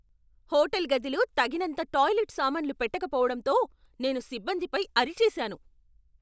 Hotel గదిలో తగినంత toilet సామాన్లు పెట్టకపోవడంతో నేను సిబ్బందిపై అరిచేసాను.